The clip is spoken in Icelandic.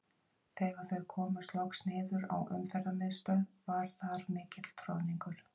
Þegar þau komust loks niður á Umferðarmiðstöð var þar mikill troðningur.